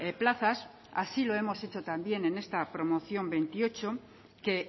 plazas así lo hemos hecho también en esta promoción veintiocho que